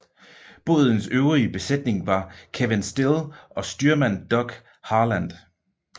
Bådens øvrige besætning var Kevin Still og styrmand Doug Herland